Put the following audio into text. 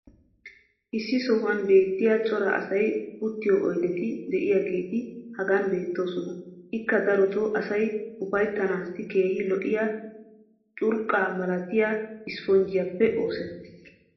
issi sohuwan beetiya cora asay uttiyo oydetti diyaageeti hagan beetoosona. ikka darotoo asay uyttanaassi keehi lo'iya curqqa malattiya isspponjjiyaappe oosettis.